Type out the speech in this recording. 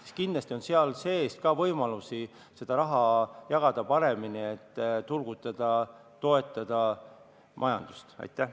Hästi, kindlasti on võimalusi jagada seda raha paremini, et majandust turgutada ja toetada.